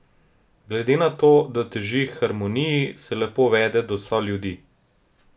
Glede na to, da teži k harmoniji, se lepo vede do soljudi.